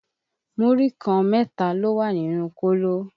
Múrí kan mẹ́ta ló wà nínú kóló